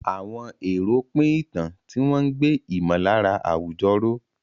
Àwọn èrò pín ìtàn, tí wọ́n ń gbé ìmọ̀lára àwùjọ ró.